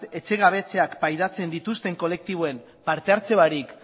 etxegabetzeak pairatzen dituzten kolektiboen partehartze barik